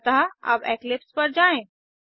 अतः अब इक्लिप्स पर जाएँ